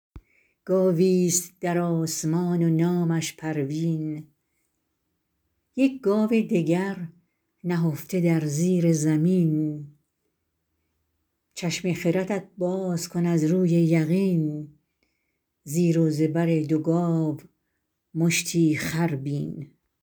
گاوی ست در آسمان و نامش پروین یک گاو دگر نهفته در زیر زمین چشم خردت باز کن از روی یقین زیر و زبر دو گاو مشتی خر بین